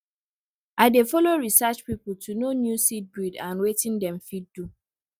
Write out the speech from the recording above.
i dey follow research people to know new seed breed and wetin dem fit do